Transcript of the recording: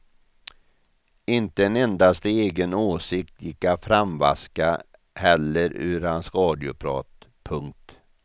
Inte en endaste egen åsikt gick att framvaska heller ur hans radioprat. punkt